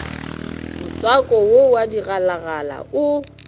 motswako wo wa digalagala o